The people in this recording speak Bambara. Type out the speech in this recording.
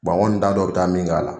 n kɔni t'a dɔn u bɛ taa min k'a la